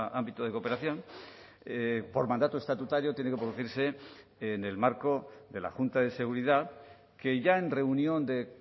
ámbito de cooperación por mandato estatutario tiene que producirse en el marco de la junta de seguridad que ya en reunión de